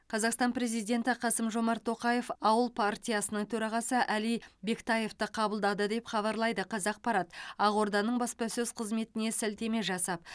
қазақстан президенті қасым жомарт тоқаев ауыл партиясының төрағасы әли бектаевты қабылдады деп хабарлайды қазақпарат ақорданың баспасөз қызметіне сілтеме жасап